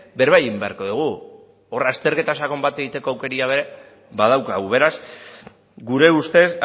berba egin beharko dugu hor azterketa sakon bat egiteko aukera ere badaukagu beraz gure ustez